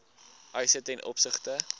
eise ten opsigte